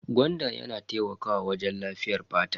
Gwanda yana taimakawa wajen lafiyar fata.